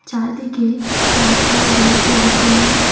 চারদিকে গাছপালা দিয়ে পরিপূর্ণ।